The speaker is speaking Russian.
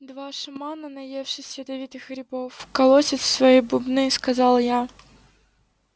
два шамана наевшись ядовитых грибов колотят в свои бубны сказал я